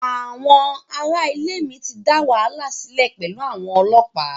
Àwọn ará ilé mi ti dá wàhálà sílẹ̀ pẹ̀lú àwọn ọlọ́pàá.